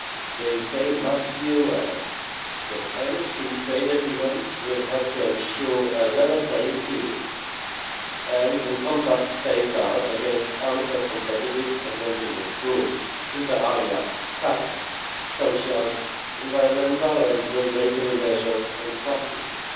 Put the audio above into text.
time, the UK must be aware that any free trade agreement will have to ensure a level playing field, and encompass safeguards against unfair competitive advantages through, inter alia, tax, social, environmental and regulatory measures and practices.